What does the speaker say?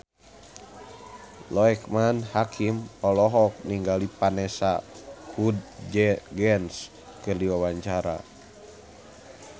Loekman Hakim olohok ningali Vanessa Hudgens keur diwawancara